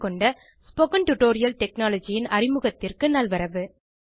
spoken tutorial technology ன் அறிமுகத்திற்கு நல்வரவு